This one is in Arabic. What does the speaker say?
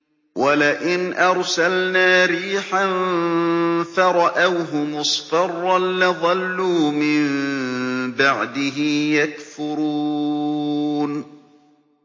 وَلَئِنْ أَرْسَلْنَا رِيحًا فَرَأَوْهُ مُصْفَرًّا لَّظَلُّوا مِن بَعْدِهِ يَكْفُرُونَ